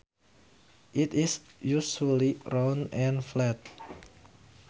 It is usually round and flat